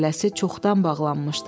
Şələsi çoxdan bağlanmışdı.